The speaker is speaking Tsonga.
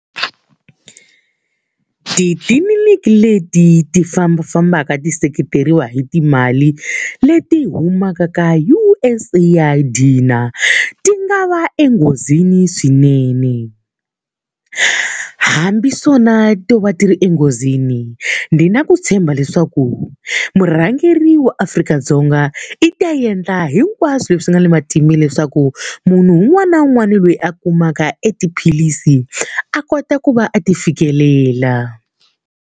Titliliniki leti ti fambafambaka ti seketeriwa hi timali leti humaka ka U_S AID ti nga va enghozini swinene. Hambi swona to va ti ri enghozini ndzi na ku tshemba leswaku murhangeri wa Afrika-Dzonga i ta endla hinkwaswo leswi swi nga ni leswaku munhu un'wana na un'wana loyi a kumaka e tiphilisi a kota ku va a ti fikelela.